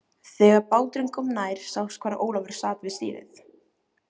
Þegar báturinn kom nær sást hvar Ólafur sat við stýrið.